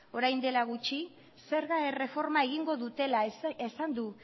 orain dela gutxi zerga erreforma egingo dutela esan du